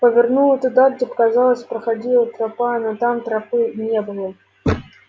повернула туда где показалось проходила тропа но там тропы не было